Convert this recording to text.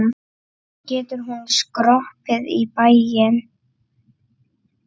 Getur hún skroppið í bæinn?